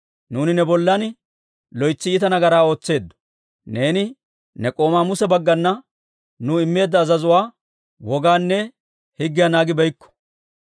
Nuuni ne bollan loytsi iita nagaraa ootseeddo; neeni ne k'oomaa Muse bagganna nuu immeedda azazuwaa, wogaanne higgiyaa naagibeykko.